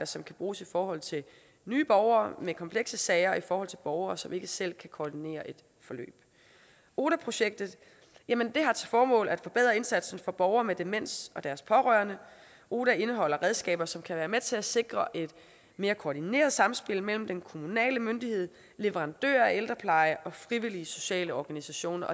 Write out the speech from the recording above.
som kan bruges i forhold til nye borgere med komplekse sager og i forhold til borgere som ikke selv kan koordinere et forløb oda projektet har til formål at forbedre indsatsen for borgere med demens og deres pårørende oda indeholder redskaber som kan være med til at sikre et mere koordineret samspil mellem den kommunale myndighed leverandører af ældrepleje og frivillige sociale organisationer